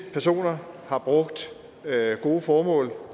personer har brugt gode formål